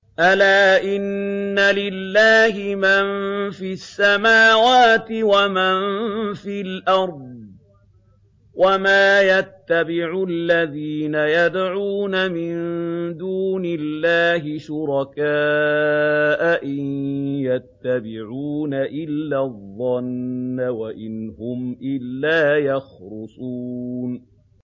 أَلَا إِنَّ لِلَّهِ مَن فِي السَّمَاوَاتِ وَمَن فِي الْأَرْضِ ۗ وَمَا يَتَّبِعُ الَّذِينَ يَدْعُونَ مِن دُونِ اللَّهِ شُرَكَاءَ ۚ إِن يَتَّبِعُونَ إِلَّا الظَّنَّ وَإِنْ هُمْ إِلَّا يَخْرُصُونَ